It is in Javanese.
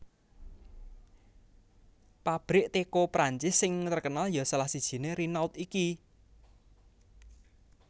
Pabrik teko Prancis sing terkenal yo salah sijine Renault iki